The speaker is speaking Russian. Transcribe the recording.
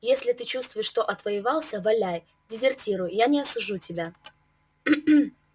если ты чувствуешь что отвоевался валяй дезертируй я не осужу тебя